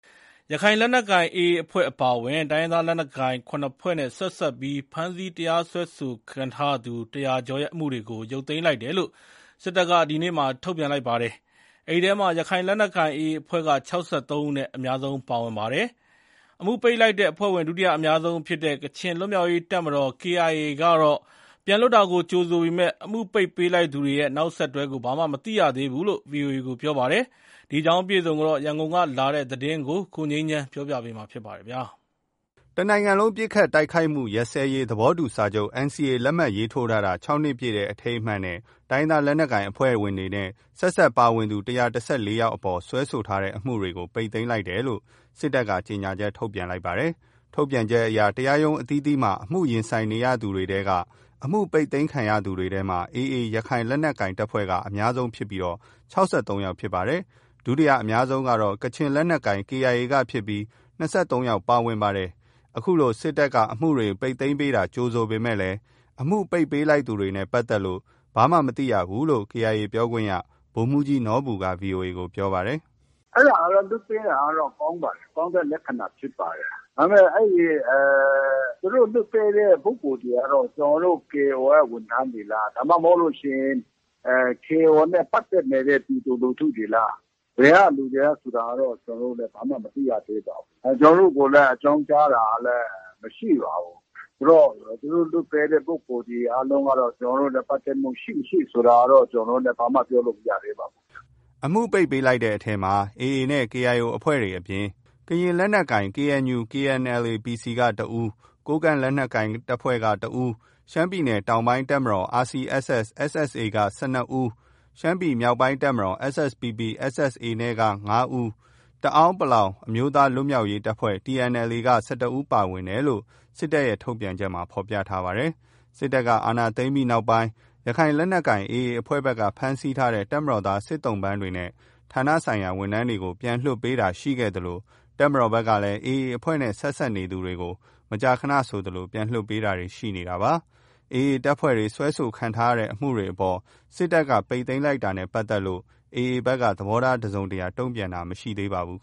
ရခိုင်လက်နက်ကိုင် AA အဖွဲ့အပါအဝင် တိုင်းရင်းသားလက်နက်ကိုင် ခုနှစ်ဖွဲ့နဲ့ဆက်စပ်ပြီး ဖမ်းဆီးတရားစွဲဆိုခံထားရသူ ၁၀၀ ကျော်ရဲ့အမှုတွေကို ရုပ်သိမ်းလိုက်တယ်လို့ စစ်တပ်က ဒီကနေ့ထုတ်ပြန်ပါတယ်။ အဲဒီထဲမှာ ရခိုင်လက် နက်ကိုင် AA အဖွဲ့က ၆၃ ဦးနဲ့ အများဆုံးပါဝင်ပါတယ်။ အမှုပိတ်လိုက်တဲ့အဖွဲ့ဝင် ဒုတိယအများဆုံးဖြစ်တဲ့ ကချင်လွတ်မြောက်ရေးတပ်မတော် KIA ကတော့ ပြန်လွတ်ပေးတာကို ကြိုဆိုပေမယ့် အမှုပိတ်ပေးလိုက်သူတွေရဲ့ နောက်ဆက်တွဲ ဘာမှမသိရဘူးလို့ ဗွီအိုအေကို ပြောပါတယ်။ ဒီအကြောင်းအပြည့်အစုံ ရန်ကုန်ကလာတဲ့သတင်းကို ကိုငြိမ်းချမ်းက ပြောပြပါမယ်။ တနိုင်ငံလုံးပစ်ခတ်တိုက်ခိုက်မှုရပ်စဲရေး သဘောတူစာချုပ် NCA လက်မှတ်ရေးထိုးတာ ၆ နှစ်ပြည့် အထိမ်းအမှတ်နဲ့ တိုင်းရင်းသားလက်နက်ကိုင်အဖွဲ့ ဝင်တွေနဲ့ ဆက်စပ်ပါဝင်သူ ၁၁၄ ယောက်အပေါ် တရားစွဲထားတဲ့ အမှုတွေကို ပိတ်သိမ်းလိုက်တယ်လို့ စစ်တပ်က ကြေငြာချက် ထုတ်ပြန်တာပါ။ ထုတ်ပြန်ချက်အရ တရားရုံးအသီးသီးမှာ အမှုရင်ဆိုင်နေရသူတွေထဲက အမှုပိတ်သိမ်းခံရသူတွေထဲမှာ အများဆုံးက ရခိုင်လက်နက်ကိုင် AA အဖွဲ့ကဖြစ်ပြီး ၆၃ ယောက်ဖြစ်ပါတယ်။ ဒုတိယအများဆုံးက ကချင်လက်နက်ကိုင် KIA ကဖြစ်ပြီး ၂၃ ဦးပါဝင်ပါတယ်။ အခုလို စစ်တပ်က အမှုတွေ ပိတ်သိမ်းပေးတာကို ကြိုဆိုပေမဲ့ အမှုပိတ်ပေးလိုက်သူတွေနဲ့ ပတ်သက်လို့ ဘာမှမသိရဘူးလို့ KIA ပြောခွင့်ရ ဗိုလ်မှူးကြီး နော်ဘူက ဗီအိုအေကို ပြောပါတယ်။ “အဲလိုမျိုးလွှတ်ပေးတာကတော့ ကောင်းပါတယ်။ ကောင်းတဲ့လက္ခဏာဖြစ်ပါတယ်။ ဒါပေမယ့် သူတို့လွှတ်ပေးတဲ့ပုဂ္ဂိုလ်တွေကတော့ ကျနော်တု့ိ KIO က ဝန်ထမ်းတွေလား၊ ဒါမှမဟုတ်လို့ရှိရင် KIO နဲ့ ပတ်သက်နေတဲ့ ပြည်သူလူထုတွေလား၊ ဘယ်ကသူတွေလဲဆိုတာတော့ ကျနော်တို့လည်း ဘာမှမသိရသေးပါဘူး။ ကျနော်တို့ကိုလည်း အကြောင်းကြားတာလည်း မရှိပါဘူး။ သူတို့လွှတ်ပေးတဲ့လူတွေ အားလုံးက ကျနော်တို့နဲ့ ပတ်သက်မှု ရှိမရှိဆိုတာကတော့ ကျနော်တို့လည်း ဘာမှပြောလို့မရသေးပါဘူး။” အမှုတွေ ပိတ်ပေးလိုက်တဲ့ထဲမှာ AA နဲ့ KIO အဖွဲ့တွေအပြင် ကရင်လက်နက်ကိုင် KNU/KNLA (PC) က ၁ ဦး၊ ကိုးကန့်လက်နက်ကိုင်က ၁ ဦး၊ ရှမ်းပြည်တောင်ပိုင်း တပ်မတော် RCSS/SSA က ၁၂ ဦး၊ ရှမ်းပြည်မြောက်ပိုင်းတပ်မတော် SSPP/SSA က ၅ ဦး နဲ့ တအာင်းအမျိုးသား လွတ်မြောက်ရေးတပ်မတော် TNLA က ၁၁ ဦးပါဝင်တယ်လို့ စစ်တပ်ထုတ်ပြန်ချက်မှာ ဖော်ပြထားပါတယ်။ စစ်တပ်က အာဏာသိမ်းပြီးနောက်ပိုင်း ရခိုင်လက်နက်ကိုင် AA အဖွဲ့ဘက်က ဖမ်းဆီးထားတဲ့ တပ်မတော်သား စစ်သုံ့ပန်းတွေနဲ့ ဌာနဆိုင်ရာဝန်ထမ်းတွေကို ပြန်လွတ်ပေးတာလည်းရှိခဲ့သလို တပ်မတော်ဘက်ကလည်း AA အဖွဲ့နဲ့ ဆက်စပ်သူတွေကို မကြာခဏဆိုသလို ပြန်လွှတ်ပေးတာတွေရှိနေတာပါ။ AA အဖွဲ့ဝင်တွေ တရားစွဲခံနေရတဲ့ အမှုတွေအပေါ် စစ်တပ်က ပိတ်သိမ်းပေးလိုက်တာနဲ့ပတ်သက်လို့ AA ဘက်က သဘောထားတစုံတရာ တုံ့ပြန်ခြင်း မရှိသေးပါဘူး